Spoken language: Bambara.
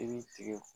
I b'i tigɛ